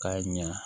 K'a ɲa